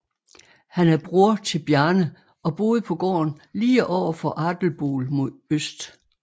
Han er bror til Bjarne og boede på gården lige over for Adelból mod øst